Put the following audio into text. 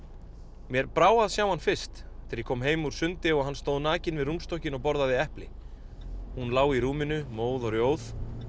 mér brá að sjá hann fyrst þegar ég kom heim úr sundi og hann stóð nakinn við rúmstokkinn og borðaði epli hún lá í rúminu móð og rjóð